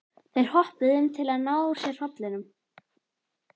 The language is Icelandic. Þeir hoppuðu um til að ná úr sér hrollinum.